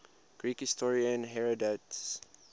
greek historian herodotus